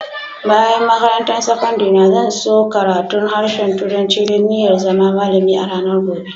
Bayan makarantan sakandare na, zan so karatun harshen turanci dan n'iya zama malami a'ranan gobe.